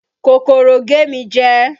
Kòkòrò gé mi jẹ